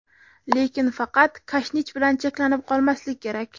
Lekin faqat kashnich bilan cheklanib qolmaslik kerak!